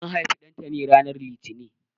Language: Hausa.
An haifi Ɗantani ranar Litini.